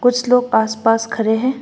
कुछ लोग आस पास खरे है।